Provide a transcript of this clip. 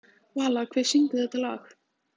Vala, hver syngur þetta lag?